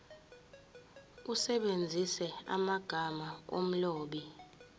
usebenzise amagama omlobi